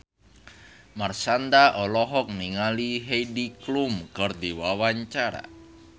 Marshanda olohok ningali Heidi Klum keur diwawancara